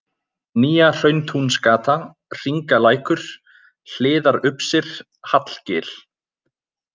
Nýja-Hrauntúnsgata, Hringalækur, Hliðarupsir, Hallgil